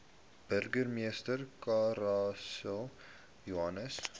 burgemeester clarence johnson